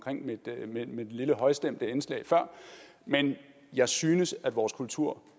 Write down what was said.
mit lille højstemte indslag før men jeg synes at vores kulturarv